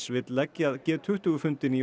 vill leggja g tuttugu fundinn í